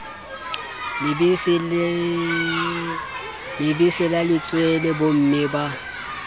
lebese la letswele bomme ba